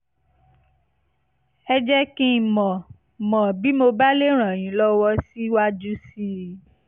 ẹ jẹ́ kí n mọ̀ mọ̀ bí mo bá lè ràn yín lọ́wọ́ síwájú sí i